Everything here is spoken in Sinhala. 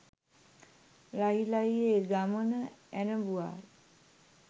ලහි ලහියේ ගමන ඇරඹුවාය.